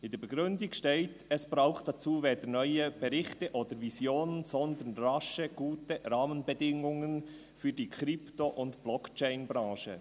In der Begründung steht «Es braucht dazu weder neue Berichte oder Visionen, sondern rasch gute Rahmenbedingungen für die Krypto- und Blockchain-Branche.»